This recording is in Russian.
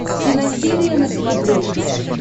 киносерия на смотрешке